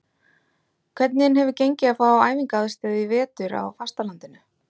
Hvernig hefur gengið að fá æfingaaðstöðu í vetur á fastalandinu?